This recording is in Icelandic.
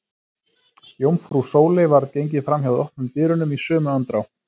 Jómfrú Sóley varð gengið fram hjá opnum dyrunum í sömu andrá.